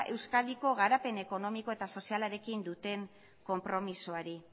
euskadiko garapen ekonomiko eta sozialarekin duten konpromisoari